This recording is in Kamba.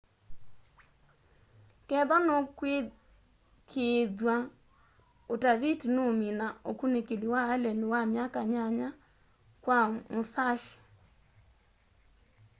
kethwa nukwikiithwa utaviti nuumina ukunikili wa allen wa myaka nyanya kwa musashi